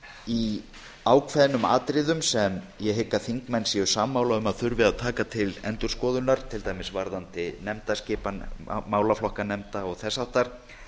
í ákveðnum atriðum sem ég held að þingmenn séu sammála um að þurfi að taka til endurskoðunar til dæmis varðandi nefndaskipan málaflokka nefnda og þess háttar